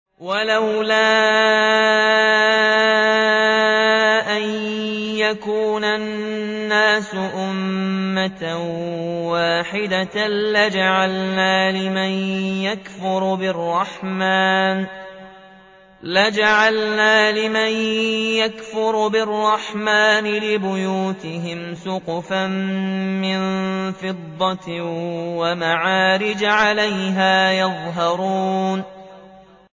وَلَوْلَا أَن يَكُونَ النَّاسُ أُمَّةً وَاحِدَةً لَّجَعَلْنَا لِمَن يَكْفُرُ بِالرَّحْمَٰنِ لِبُيُوتِهِمْ سُقُفًا مِّن فِضَّةٍ وَمَعَارِجَ عَلَيْهَا يَظْهَرُونَ